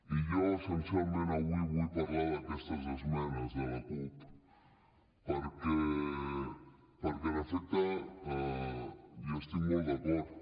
i jo essencialment avui vull parlar d’aquestes esmenes de la cup perquè en efecte hi estic molt d’acord